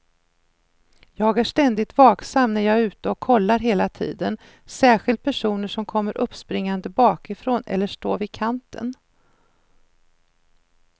Jag är ständigt vaksam när jag är ute och kollar hela tiden, särskilt personer som kommer uppspringande bakifrån eller står vid kanten.